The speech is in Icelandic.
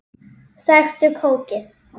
Sæktu kókið.